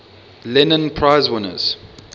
lenin prize winners